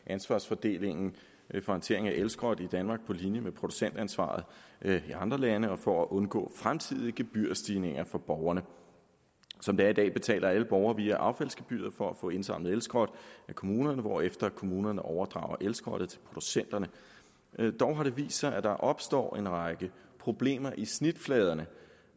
ansvarsfordelingen for håndtering af elskrot i danmark på linje med producentansvaret i andre lande og for at undgå fremtidige gebyrstigninger for borgerne som det er i dag betaler alle borgere via affaldsgebyret for at få indsamlet elskrot af kommunerne hvorefter kommunerne overdrager elskrottet til producenterne dog har det vist sig at der opstår en række problemer i snitfladerne